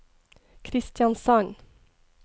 Kristiansand